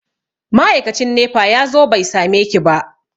Ma'aikacin nefa ya zo bai sameki ba.